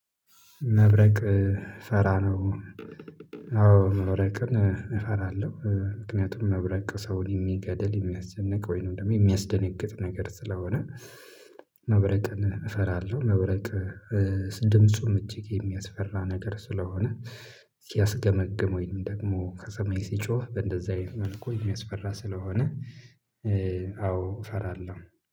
መብረቅ ፈራ ነው። አዎ መብረቅን እፈራለሁ ምክንያቱም መብረቅ ሰውን የሚገደል የሚያስጨንቅ ወይንም ደግሞ የሚያስደነግጥ ነገር ስለሆነ መብረቅን እፈራለሁ። መብረቅ ድምፁም እጅግ የሚያስፈራ ነገር ስለሆነ ሲያስገመግመኝ ነው። ደግሞ ከሰማይ ሲጮህ በእንደዚህ አይነት መልኩ የሚያስፈራ ስለሆነ አዎ እፈራለሁ